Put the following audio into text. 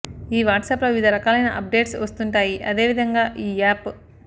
ఈ వాట్సాప్ లో వివిధ రకాలయిన అప్ డేట్స్ వస్తుంటాయి అదే విధంగా ఈ యాప్